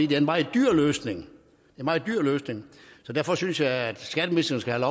det er en meget dyr løsning en meget dyr løsning så derfor synes jeg at skatteministeren skal